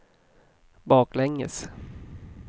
baklänges